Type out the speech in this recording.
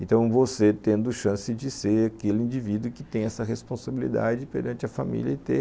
Então você tendo chance de ser aquele indivíduo que tem essa responsabilidade perante a família e ter